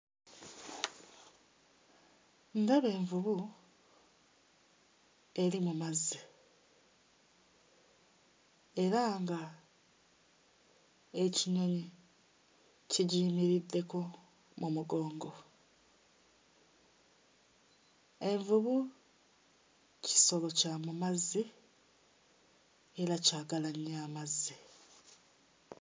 Ndaba envubu eri mu mazzi era nga ekinyonyi kigiyimiriddeko mu mugongo, envubu kisolo kya mu mazzi era kyagala nnyo amazzi.